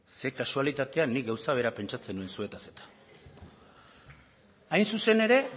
ze kasualitatea nik gauza bera pentsatzen nuen zuetaz eta hain zuzen ere